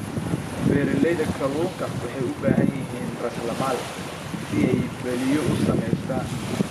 Beeralayda kalluunka waxay u baahan yihiin raasamaal si ay balliyo u samaystaan.